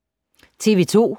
TV 2